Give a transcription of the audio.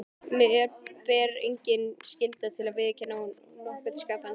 Mér ber engin skylda til að viðurkenna nokkurn skapaðan hlut.